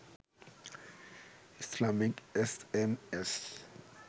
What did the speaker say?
ইসলামীক S M S